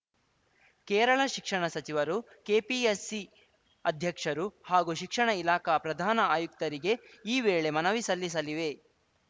ಕೇರಳ ಶಿಕ್ಷಣ ಸಚಿವರು ಕೆಪಿಎಸ್‌ಸಿ ಅಧ್ಯಕ್ಷರು ಹಾಗೂ ಶಿಕ್ಷಣ ಇಲಾಖಾ ಪ್ರಧಾನ ಆಯುಕ್ತರಿಗೆ ಈ ವೇಳೆ ಮನವಿ ಸಲ್ಲಿಸಲಿವೆ